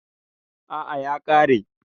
A'a ya kare.